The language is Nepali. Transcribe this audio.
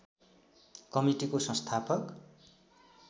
कमिटिको संस्थापक